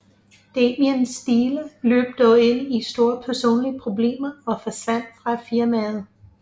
Damien Steele løb dog ind i store personlige problemer og forsvandt fra firmaet